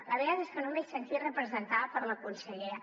la veritat és que no m’he sentit representada per la consellera